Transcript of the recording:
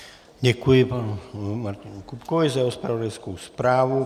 Děkuji panu Martinu Kupkovi za jeho zpravodajskou zprávu.